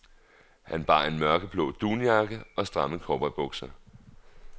Han bar en mørkeblå dunjakke og stramme cowboybukser.